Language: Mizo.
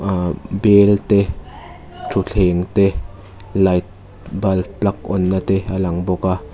ahh bel te thutthleng te light bulb plug on na te a lang bawk a.